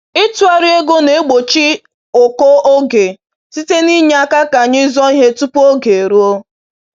Ịtụgharị ego na-egbochi ụkọ oge site n’inye aka ka anyị zụọ ihe tupu oge eruo